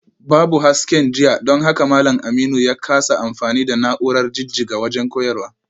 Babu hasken jiya don haka malam Aminu ya kasa amfani da na’urar jijjiga wajen koyarwa